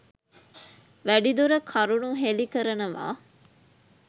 වැඩිදුර කරුණු හෙළි කරනවා